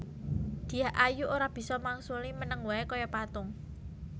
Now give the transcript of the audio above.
Dyah Ayu ora bisa mangsuli meneng wae kaya patung